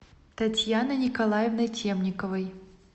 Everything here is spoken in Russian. татьяной николаевной темниковой